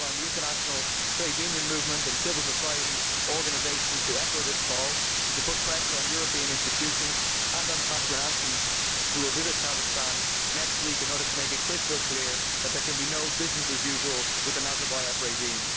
I call on the international trade union movement and civil society organisations to echo this call and to put pressure on European institutions and on Catherine Ashton, who will visit Kazakhstan next week, to make it crystal clear that there can be no business usual with the Nazarbayev regime.